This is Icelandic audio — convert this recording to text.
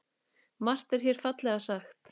Margt er hér fallega sagt.